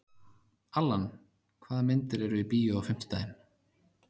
Allan, hvaða myndir eru í bíó á fimmtudaginn?